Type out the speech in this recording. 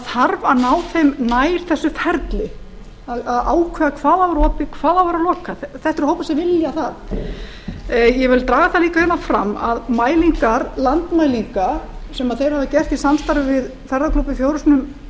að ná þeim nær þessu ferli að ákveða hvaða á að vera opið hvað á að vera lokað þetta eru hópar sem vilja það ég vil draga það líka hér fram að mælingar landmælinga sem þeir hafa gert í samstarfi við ferðaklúbbinn